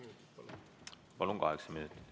Kokku kaheksa minutit.